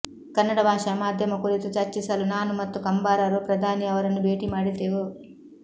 ಕನ್ನಡ ಭಾಷಾ ಮಾಧ್ಯಮ ಕುರಿತು ಚರ್ಚಿಸಲು ನಾನು ಮತ್ತು ಕಂಬಾರರು ಪ್ರಧಾನಿ ಅವರನ್ನು ಭೇಟಿ ಮಾಡಿದ್ದೆವು